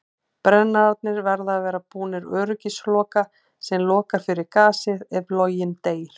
Brennararnir verða að vera búnir öryggisloka sem lokar fyrir gasið ef loginn deyr.